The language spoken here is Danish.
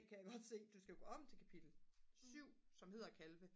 kan jeg godt se du skal jo gå om til kapitel 7 som hedder kalve